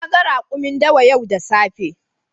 Na gan rakumin dawa yau da safe.